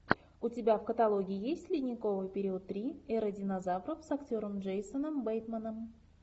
у тебя в каталоге есть ледниковый период три эра динозавров с актером джейсоном бейтманом